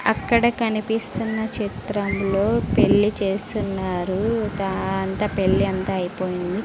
అక్కడ కనిపిస్తున్న చిత్రంలో పెళ్లి చేస్తున్నారు పెళ్లి అంతా అయిపోయింది.